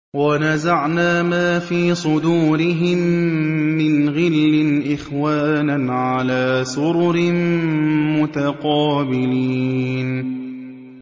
وَنَزَعْنَا مَا فِي صُدُورِهِم مِّنْ غِلٍّ إِخْوَانًا عَلَىٰ سُرُرٍ مُّتَقَابِلِينَ